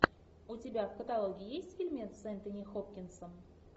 у тебя в каталоге есть фильмец с энтони хопкинсом